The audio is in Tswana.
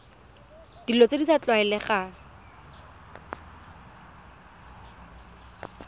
dilo tse di sa tlwaelegang